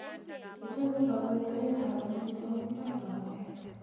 Kichome kang'utaet ab amitwakik ak maueek